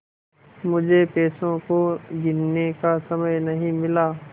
मुझे पैसों को गिनने का समय नहीं मिला